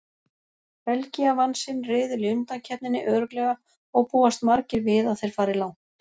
Belgía vann sinn riðil í undankeppninni örugglega og búast margir við að þeir fari langt.